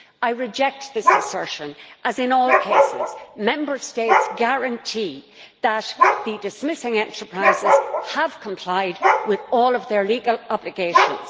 I reject this assertion as in all cases Member States guarantee that the dismissing enterprises have complied with all their legal obligations.